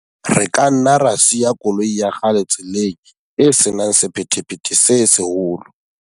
Re ka nna ra siya koloi ya kgale tseleng e se nang sephethephethe se seholo.